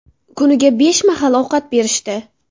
Kuniga besh mahal ovqat berishdi.